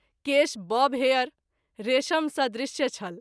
केश बब हेयर, रेशम सदृश्य छल।